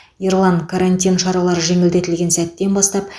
ерлан қарантин шаралары жеңілдетілген сәттен бастап